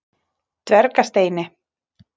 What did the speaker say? Dvergasteini